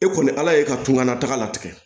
E kɔni ala ye ka tungan na taga latigɛ